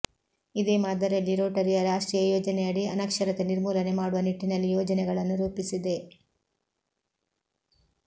ಇದೇ ಮಾದರಿಯಲ್ಲಿ ರೋಟರಿಯ ರಾಷ್ಟ್ರೀಯ ಯೋಜನೆಯಡಿ ಅನಕ್ಷರತೆ ನಿರ್ಮೂಲನೆ ಮಾಡುವ ನಿಟ್ಟಿನಲ್ಲಿ ಯೋಜನೆಗಳನ್ನು ರೂಪಿಸಿದೆ